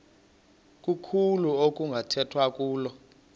kuluhlu okunokukhethwa kulo